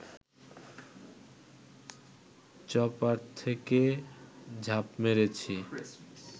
chopper থেকে ঝাঁপ মেরেছি